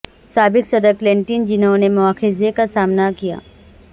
سابق صدر کلنٹن جنہوں نے مواخذے کا سامنا کیا